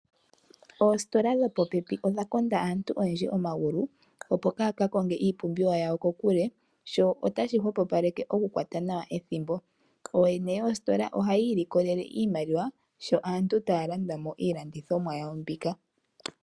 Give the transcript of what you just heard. Oositola dhopopepi odha konda aantu oyendji omagulu , opo kaaya kakonge iipumbiwa yawo kokule . Sho otashi hwepopaleke okukwata nawa ethimbo . Ooyene yoositola ohaya ilikolele iimaliwa sho aantu taya landa mo iilandithomwa mbika.